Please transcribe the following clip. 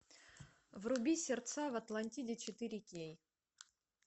вруби сердца в атлантиде четыре кей